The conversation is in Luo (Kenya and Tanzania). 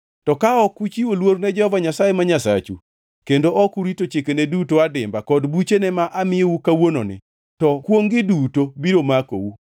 To ka ok uchiwo luor ne Jehova Nyasaye ma Nyasachu kendo ok urito chikene duto adimba kod buchene ma amiyou kawuononi, to kwongʼ-gi duto biro makou.